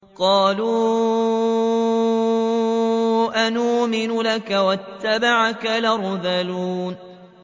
۞ قَالُوا أَنُؤْمِنُ لَكَ وَاتَّبَعَكَ الْأَرْذَلُونَ